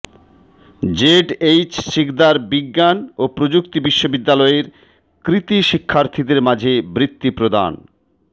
ZH Sikdar বিজ্ঞান ও প্রযুক্তি বিশ্ববিদ্যালয়ের কৃতী শিক্ষার্থীদের মাঝে বৃত্তি প্রদান